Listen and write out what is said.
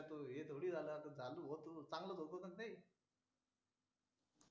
त्यात भाऊ हे जाणून बुजून थोडी झालं चांगलंच होतं ना भाऊ ते